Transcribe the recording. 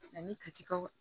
Ani katikaw